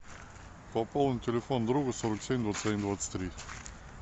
пополни телефон друга сорок семь двадцать один двадцать три